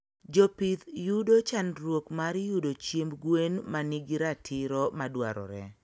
jopith yudo chanduok mar yudo chiemb gwen manigi ratiro madwarore